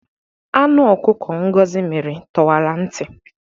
Anụ ọkụkọ Ngozi mịrị tọwara ntị.